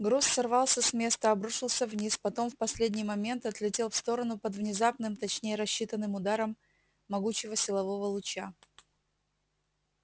груз сорвался с места обрушился вниз потом в последний момент отлетел в сторону под внезапным точнее рассчитанным ударом могучего силового луча